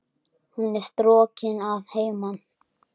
Hún er strokin að heiman.